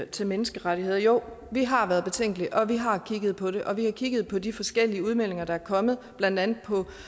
til menneskerettighederne jo vi har været betænkelige og vi har kigget på det og vi har kigget på de forskellige udmeldinger der er kommet blandt andet